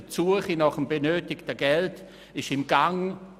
Die Suche nach dem benötigten Geld ist im Gang.